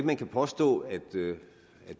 man kan påstå at